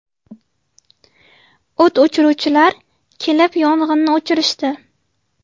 O‘t o‘chiruvchilar kelib yong‘inni o‘chirishdi.